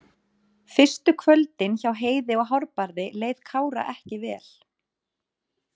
Fyrstu kvöldin hjá Heiði og Hárbarði leið Kára ekki vel.